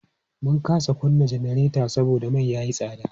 Mun kasa kunna janareta saboda mai ya yi tsada.